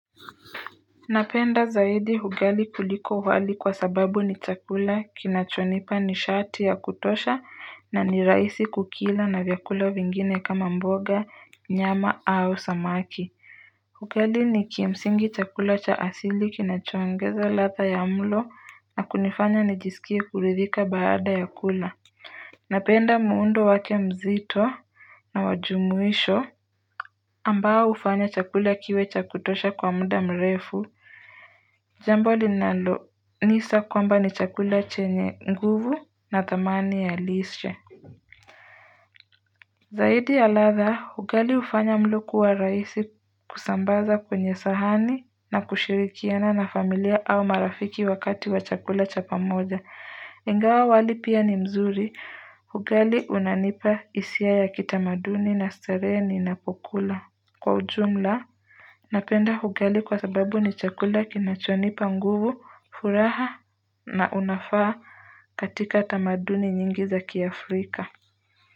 Napenda zaidi hugali kuliko huwali kwa sababu ni chakula kinachonipa nishati ya kutosha na ni raisi kukila na vyakula vingine kama mboga nyama au samaki Hugali ni kimsingi chakula cha asili kinachoongeza ladha ya mlo na kunifanya nijisikie kuridhika baada ya kula Napenda muundo wake mzito na wa jumuisho ambao hufanya chakula kiwe cha kutosha kwa muda mrefu Jambo linalonisa kwamba ni chakula chenye nguvu na thamani ya lishe Zaidi ya ladha, hugali ufanya mlo kuwa raisi kusambaza kwenye sahani na kushirikiana na familia au marafiki wakati wa chakula cha pamoja Ingawa wali pia ni mzuri, hugali unanipa isia ya kitamaduni na starehe ninapokula kwa ujumla, napenda hugali kwa sababu ni chakula kinachonipa nguvu furaha na unafaa katika tamaduni nyingi za kiafrika.